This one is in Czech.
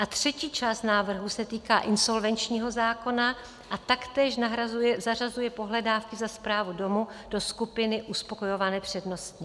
A třetí část návrhu se týká insolvenčního zákona a taktéž zařazuje pohledávky za správu domu do skupiny uspokojované přednostně.